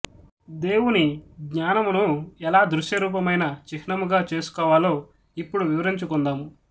దేవుని జ్ఞానమును ఎలా దృశ్యరూపమైన చిహ్నముగా చేసుకోవాలో ఇప్పుడు వివరించుకొందాము